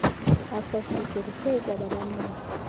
access lijoliswe ekwabelaneni